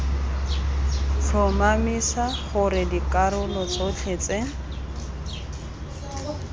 tlhomamisa gore dikarolo tsotlhe tse